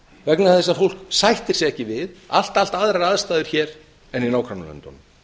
vegna þess að fólk sættir sig ekki við allt aðrar aðstæður hér en í nágrannalöndunum